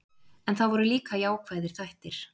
En það voru líka jákvæðir þættir.